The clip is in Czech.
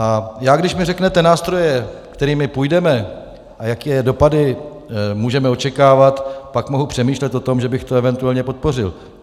A já, když mi řeknete nástroje, kterými půjdeme, a jaké dopady můžeme očekávat, pak mohu přemýšlet o tom, že bych to eventuálně podpořil.